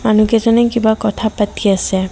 মানুহকেইজনে কিবা কথা পাতি আছে।